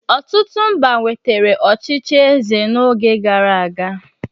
Ọtụtụ mba nwetara ọchịchị eze n'oge gara aga.